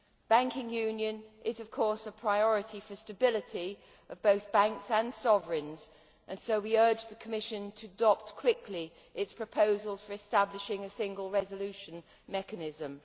Banking union is, of course, a priority for stability of both banks and sovereigns and so we urge the Commission to adopt quickly its proposals for establishing a single resolution mechanism.